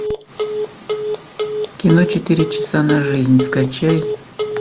кино четыре часа на жизнь скачай